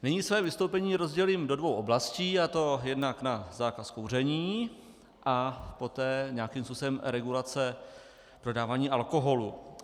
Nyní své vystoupení rozdělím do dvou oblastí, a to jednak na zákaz kouření a poté nějakým způsobem regulace dodávání alkoholu.